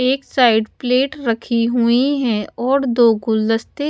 एक side plate रखी हुई हैं और दो गुलदस्ते--